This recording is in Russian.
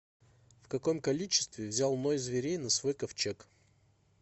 в каком количестве взял ной зверей на свой ковчег